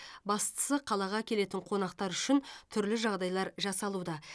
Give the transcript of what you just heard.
бастысы қалаға келетін қонақтар үшін түрлі жағдайлар жасалуда